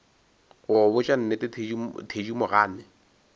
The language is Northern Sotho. go go botša nnete thedimogane